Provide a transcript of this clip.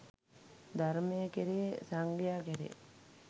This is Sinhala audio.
ධර්මය කෙරෙහි සංඝයා කෙරෙහි